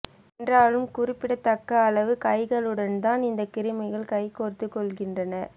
என்றாலும் குறிப்பிடத் தக்க அளவு கைகளுடன்தான் இந்தக் கிருமிகள் கை கோர்த்துக் கொள்கின்றன